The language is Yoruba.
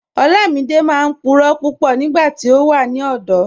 Olamídẹ máa n púrọ̀ púpọ̀ nígbàtí ó wà ní ọ̀dọ̀.